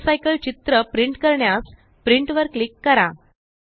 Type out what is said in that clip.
water cycle चित्र print करण्यास print वर क्लिक करा